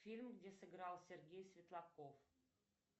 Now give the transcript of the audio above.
фильм где сыграл сергей светлаков